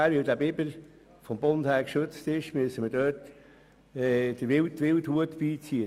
Wenn wir nun einen Biberschaden haben, müssen wir den Wildhüter beiziehen.